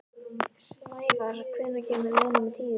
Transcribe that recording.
Snævarr, hvenær kemur leið númer tíu?